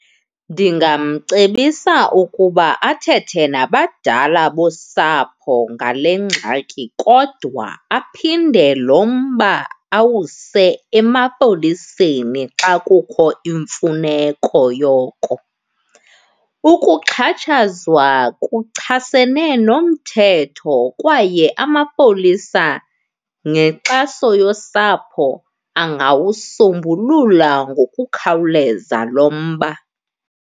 Ndingamcebisa ukuba athethe nabadala bosapho ngale ngxaki, kodwa aphinde lo mba awuse emapoliseni xa kukho imfuneko yoko. Ukuxhatshazwa kuchasene nomthetho kwaye amapolisa nenkxaso yosapho angawusombulula ngokukhawuleza lo mba.